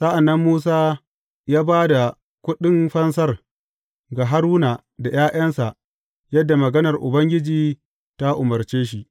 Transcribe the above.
Sa’an nan Musa ya ba da kuɗin fansar ga Haruna da ’ya’yansa, yadda maganar Ubangiji ta umarce shi.